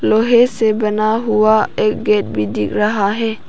लोहे से बना हुआ एक गेट भी दिख रहा है।